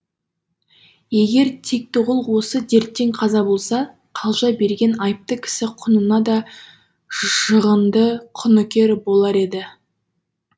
егер тектіғұл осы дерттен қаза болса қалжа берген айыпты кісі құнына да жығынды құныкер болар еді